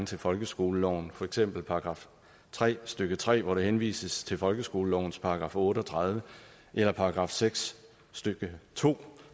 til folkeskoleloven for eksempel i § tre stykke tre hvor der henvises til folkeskolelovens § otte og tredive eller § seks stykke to